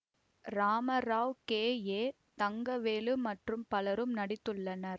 Ramarao K A Thangavelu மற்றும் பலரும் நடித்துள்ளனர்